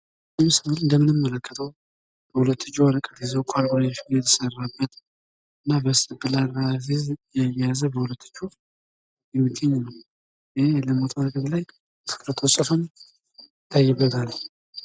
በምስሉ ላይ የምንመለከተው በሁለት እጁ ወረቀት ይዞ ካልኩሌሽን የተሰራበት በስቴፕላር ለማስያዝ ሲሞክር ይታያል። የተለያዩ ፅሁፎች ይታያሉ።